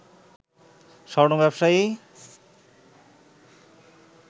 স্বর্ণ ব্যবসায়ী